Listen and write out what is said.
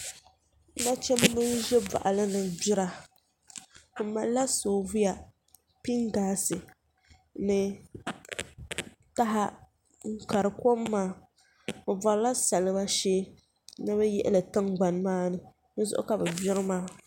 Nachimbi n bɛ boɣali ni gbira bi malila soobuya pingaasi ni taha n kari kom maa bi borila salima shee ni bi yihili tingbani maa ni. dizuɣu ka bi gbiri maa